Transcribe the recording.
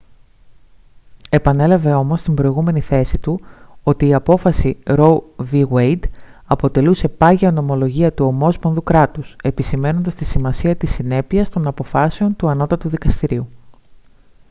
επανέλαβε όμως την προηγούμενη θέση του ότι η απόφαση roe v. wade αποτελούσε «πάγια νομολογία του ομόσπονδου κράτους» επισημαίνοντας τη σημασία της συνέπειας των αποφάσεων του ανώτατου δικαστηρίου